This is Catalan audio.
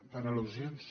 per al·lusions